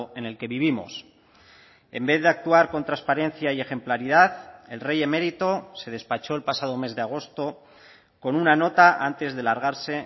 en el que vivimos en vez de actuar con transparencia y ejemplaridad el rey emérito se despachó el pasado mes de agosto con una nota antes de largarse